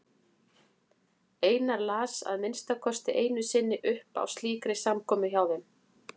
Einar las að minnsta kosti einu sinni upp á slíkri samkomu hjá þeim.